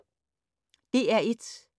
DR1